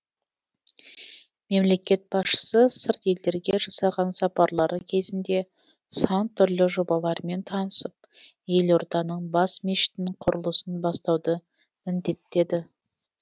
мемлекет басшысы сырт елдерге жасаған сапарлары кезінде сан түрлі жобалармен танысып елорданың бас мешітінің құрылысын бастауды міндеттеді